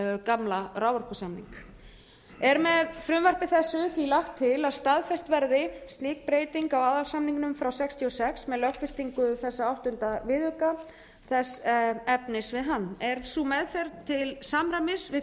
gamla raforkusamnings er með frumvarpi þessu því lagt til að staðfest verði slík breyting á aðalsamningnum frá nítján hundruð sextíu og sex með lögfestingu þessa áttunda viðauka þess efnis við hann er sú meðferð til samræmis við